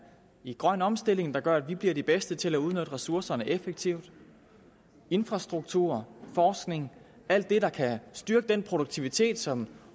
grøn omstilling der gør at vi bliver de bedste til at udnytte ressourcerne effektivt infrastruktur forskning ja alt det der kan styrke den produktivitet som